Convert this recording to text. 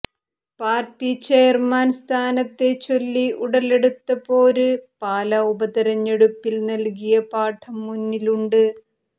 party chairman സ്ഥാനത്തെ ചൊല്ലി ഉടലെടുത്ത പോര് പാലാ ഉപതിരഞ്ഞെടുപ്പിൽ നൽകിയ പാഠം മുന്നിലുണ്ട്